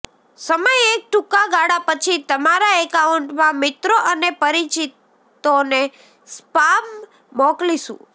સમય એક ટૂંકા ગાળા પછી તમારા એકાઉન્ટમાં મિત્રો અને પરિચિતોને સ્પામ મોકલીશું